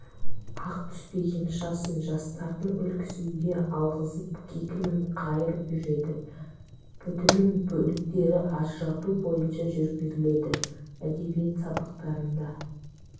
ақ түспеген шашын жастардың үлгісінде алғызып кекілін қайырып жүреді бүтіннің бөліктерін ажырату бойынша жүргізіледі әдебиет сабақтарында